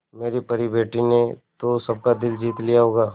मेरी परी बेटी ने तो सबका दिल जीत लिया होगा